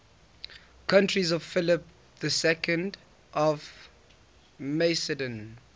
courtiers of philip ii of macedon